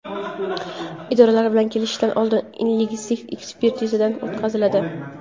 idoralar bilan kelishishdan oldin lingvistik ekspertizadan o‘tkaziladi.